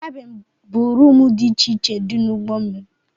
Kabin bụ roomu dị iche iche dị n'ugbó mmiri.